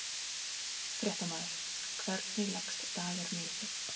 Fréttamaður: Hvernig leggst dagurinn í þig?